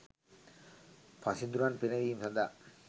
පසිඳුරන් පිනවීම සඳහා